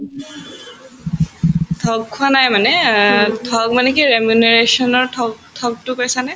ঠগ খোৱা নাই মানে অ ঠগ মানে কি ঠগ‍‍ ঠগতো কৈছানে